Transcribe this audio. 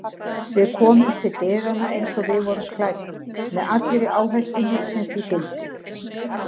Við komum til dyranna eins og við vorum klædd með allri áhættunni sem því fylgdi.